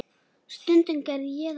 Stundum gerði ég það líka.